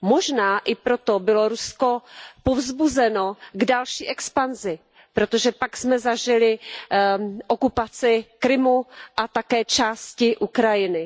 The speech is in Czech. Možná i proto bylo Rusko povzbuzeno k další expanzi, protože pak jsme zažili okupaci Krymu a také části Ukrajiny.